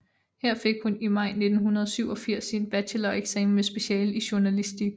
Her fik hun i maj 1987 sin bacheloreksamen med speciale i journalistik